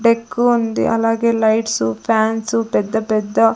డెక్కు ఉంది అలాగే lights fans పెద్ద పెద్ద--